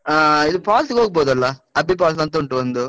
ಆಹ್ ಇದು falls ಗೆ ಹೋಗ್ಬಹುದಲ್ಲ? ಅಬ್ಬಿ falls ಅಂತ ಉಂಟು ಒಂದು.